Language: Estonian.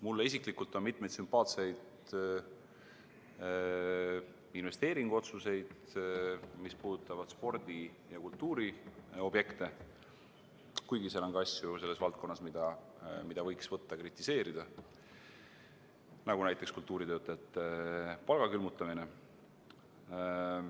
Mulle isiklikult on sümpaatsed mitmed investeeringuotsused, mis puudutavad spordi- ja kultuuriobjekte, kuigi selles valdkonnas on ka asju, mida võiks kritiseerida, näiteks kultuuritöötajate palga külmutamine.